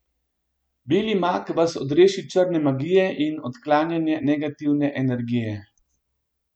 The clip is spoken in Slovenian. Beli mag vas odreši črne magije in odklanjanje negativne energije.